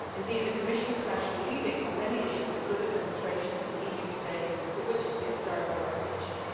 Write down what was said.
Indeed, the Commission is actually leading on many issues of good administration in the EU today, and for that they deserve our recognition.